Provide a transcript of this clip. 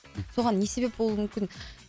соған не себеп болуы мүмкін